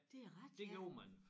Det er rigtigt ja